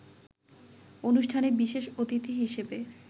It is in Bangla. অনুষ্ঠানে বিশেষ অতিথি হিসেবে